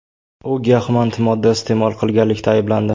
U giyohvand modda iste’mol qilganlikda ayblandi.